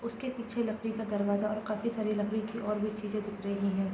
उसके पीछे लकड़ी का दरवाजा और काफी सारे लकड़ी के और भी चीज़े दिख रही है ।